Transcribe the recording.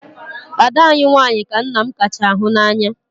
Ada anyị nwanyị ka nna m kacha hụ n'anya.